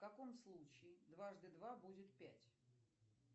в каком случае дважды два будет пять